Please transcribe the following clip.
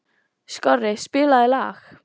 Skorri, spilaðu lag.